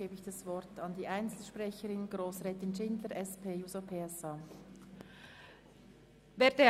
Zuerst hat Grossrätin Schindler das Wort.